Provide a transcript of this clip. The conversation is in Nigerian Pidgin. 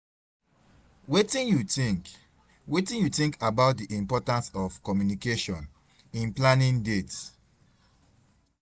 wetin you think wetin you think about di importance of communication in planning dates?